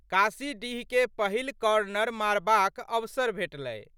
कासीडीहके पहिल कॉर्नर मारबाक अवसर भेटलै।